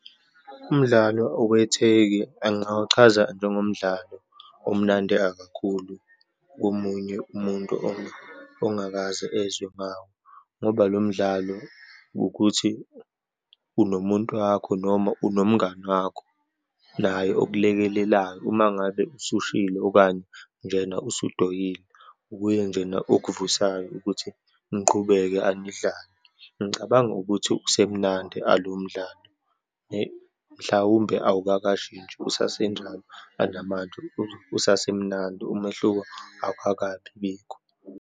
Umdlalo owetheki engawuchaza njengomdlalo omnandi ekakhulu komunye umuntu ongakaze ezwe ngawo. Ngoba lo mdlalo ukuthi unomuntu wakho, noma unomngani wakho, naye okulekelelayo uma ngabe usushilo okanye njena usudoyile, nguye njena okuvusayo ukuthi niqhubeke anidlale. Ngicabanga ukuthi usemnandi alowo mdlalo mhlawumbe awakakashintshi usasenjalo anamanje, usasemnandi, umehluko awukakabibikho.